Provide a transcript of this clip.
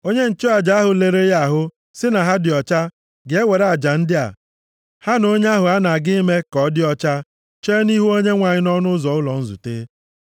Onye nchụaja ahụ lere ya ahụ sị na ha dị ọcha, ga-ewere aja ndị a, ha na onye ahụ a na-aga ime ka ọ dị ọcha chee nʼihu Onyenwe anyị nʼọnụ ụzọ ụlọ nzute.